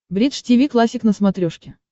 бридж тиви классик на смотрешке